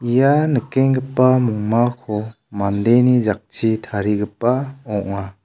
ia nikenggipa mongmako mandeni jakchi tarigipa ong·a.